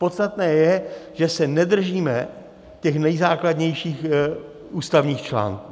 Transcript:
Podstatné je, že se nedržíme těch nejzákladnějších ústavních článků.